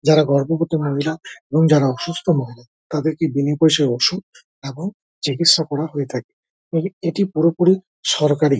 যারা গর্ববতী মহিলা এবং যারা অসুস্থ মহিলা তাদেরকে বিনেপয়সায় ওষুধ এবং চিকিস্যা করা হয়ে থাকে। এইটি পুরোপুরি সরকারি।